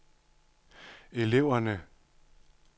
eleverne